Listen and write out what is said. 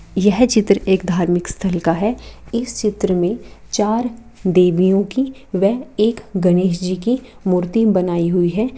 यह चित्र एक धार्मिक स्थल का है इस चित्र में चार देवियों की वह एक गणेश जी की मूर्ति बनाई हुई है।